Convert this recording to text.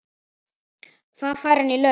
Hvað fær hann í laun?